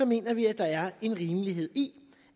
mener vi at der er en rimelighed i